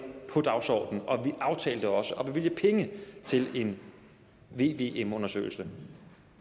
på dagsordenen og vi aftalte også at bevilge penge til en vvm undersøgelse